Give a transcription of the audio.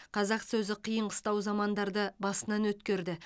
қазақ сөзі қиын қыстау замандарды басынан өткерді